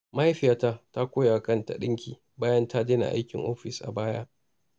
Mahaifiyata ta koya wa kanta ɗinki bayan ta daina aikin ofis a baya.